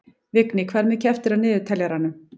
Vigný, hvað er mikið eftir af niðurteljaranum?